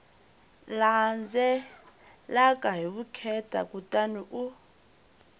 landzelaka hi vukheta kutani u